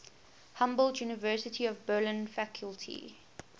humboldt university of berlin faculty